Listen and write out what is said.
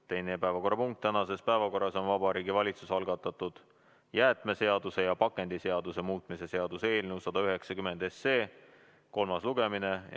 Teine päevakorrapunkt tänases päevakorras on Vabariigi Valitsuse algatatud jäätmeseaduse ja pakendiseaduse muutmise seaduse eelnõu 190 kolmas lugemine.